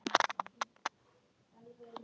Hann starfar við að vera andvígur umferðarslysum.